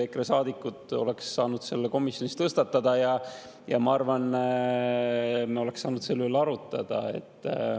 EKRE saadikud oleksid saanud selle komisjonis tõstatada ja ma arvan, et me oleksime saanud selle üle arutada.